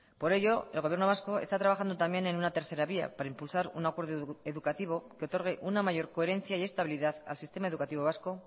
por ello el gobierno vasco está trabajando también en una tercera vía para impulsar un acuerdo educativo que otorgue una mayor coherencia y estabilidad al sistema educativo vasco